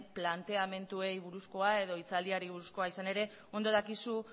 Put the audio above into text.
planteamenduei buruzkoa edo hitzaldiari buruzkoa izan ere ondo dakizu